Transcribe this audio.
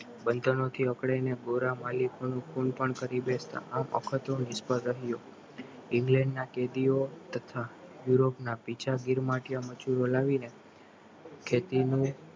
બંધનોથી અકડાઈને ગોરા માલિકો નું ખૂન પણ કરી બેસતા આ અખતરો નિષ્ફળ રહ્યો ઇન્ડિયાના કેદીઓ તથા યુરોપના મજૂરો લાવીને ખેતીનું